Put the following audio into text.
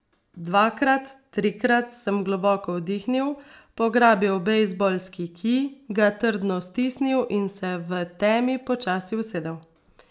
Dvakrat, trikrat sem globoko vdihnil, pograbil bejzbolski kij, ga trdno stisnil in se v temi počasi usedel.